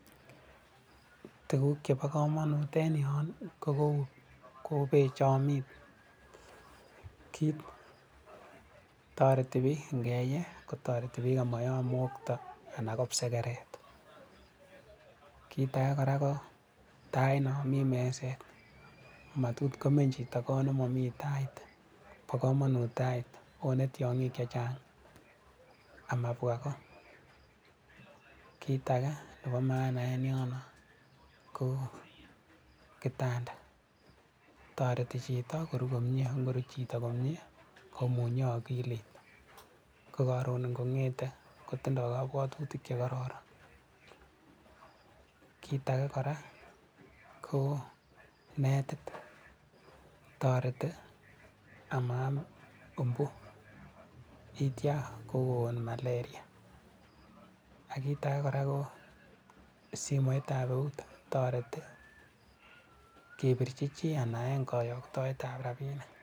Tuguk chepo komonut en yon ii ko peek chomii kiit , toreti piik ingeye amayam mokto anan ko kipsekeret , kit age ko tait non mii meset matot komeny chito kot nemomi tait , bo komonut tait wone tiong'ik chechang' amabwa ko , kit age nepo maana en yon ko kitanda toreti chito koruu komie ko ng'oruu chito komie komunye okilit ko koron ingongete kotinye kobwotutit chekororon. Kit age kora ko netit toreti amaam umbu yeitya kogon malaria. Ak kit ake kora ko simoit ab eut toreti kepirchi chii anan ko en koyoktoet ab rabinik.